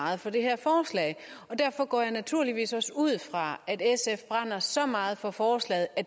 meget for det her forslag og derfor går jeg naturligvis også ud fra at sf brænder så meget for forslaget at